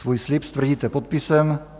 Svůj slib stvrdíte podpisem.